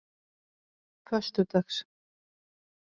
föstudags